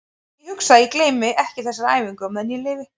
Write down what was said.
En ég hugsa að ég gleymi ekki þessari æfingu á meðan ég lifi.